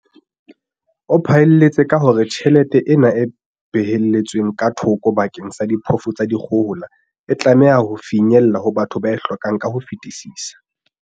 O phaelletse ka hore tjhelete ena e behelletsweng ka thoko bakeng sa diphofu tsa dikgohola e tlameha ho finyella ho batho ba e hlokang ka ho fetisisa.